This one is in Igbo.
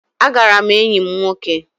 Agara m enyi m nwoke